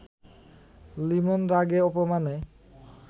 Limon রাগে-অপমানে